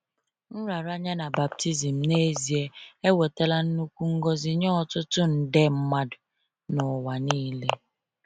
Nraranye na baptizim, n’ezie, ewetala nnukwu ngọzi nye ọtụtụ nde mmadụ n’ụwa niile.